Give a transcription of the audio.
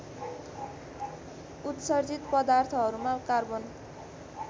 उत्सर्जित पदार्थहरूमा कार्बन